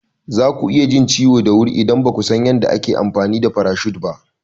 Zaku iya jin ciwo da wuri idan bakasan yanda ake amfani da farashut ba.